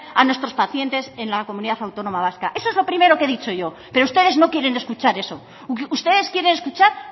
a nuestros pacientes en la comunidad autónoma vasca eso es lo primero que he dicho yo pero ustedes no quieren escuchar eso ustedes quieren escuchar